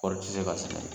Kɔɔri tɛ se ka sɛnɛ